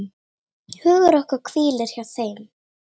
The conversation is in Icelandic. Hugur okkar hvílir hjá þeim.